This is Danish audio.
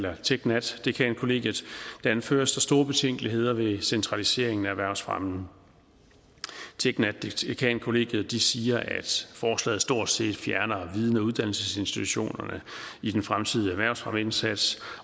og tek nat dekankollegiet anføres der store betænkeligheder ved centraliseringen af erhvervsfremmen tek nat dekankollegiet siger at forslaget stort set fjerner viden og uddannelsesinstitutionerne i den fremtidige erhvervsfremmeindsats